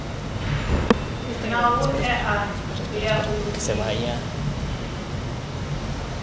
na hoea ya u lugisa